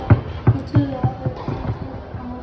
Þeir tjölduðu og afréðu að þvo líkin að morgni.